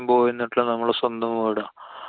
പോയി നിന്നിട്ടിണ്ട്. നമ്മടെ സ്വന്തം വീടാ.